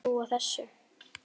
Hver hefði trúað þessu!